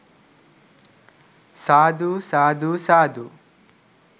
සාදු! සාදු! සාදු!